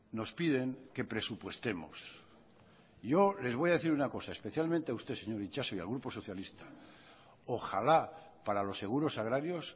nos piden que presupuestemos yo les voy a decir una cosa especialmente a usted señor itxaso y al grupo socialista ojalá para los seguros agrarios